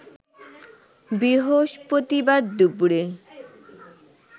বৃহস্পতিবার দুপুরে